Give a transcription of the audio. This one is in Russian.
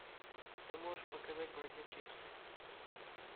ты можешь показать бродячие псы